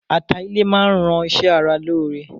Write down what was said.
Ata ilẹ máa ń ran ṣe ara lóore.